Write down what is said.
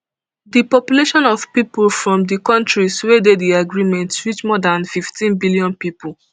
di population of pipo from di kontris wey dey di agreement reach more dan fifteen billion pipo